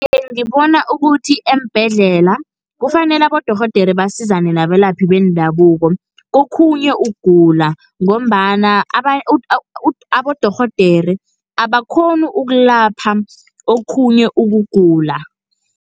Ngibona ukuthi eembhedlela, kufanele abodorhodera basizane nabelaphi bendabuko, kokhunye ukugula ngombana abodorhodere abakghoni ukulapha okhunye ukugula.